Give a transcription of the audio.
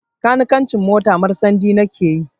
Kanikancin motar marsandi na ke yi